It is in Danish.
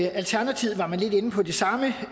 alternativet var man lidt inde på det samme